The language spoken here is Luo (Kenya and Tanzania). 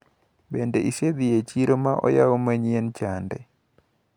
Bende isedhi e chiro maoyawu manyien chande.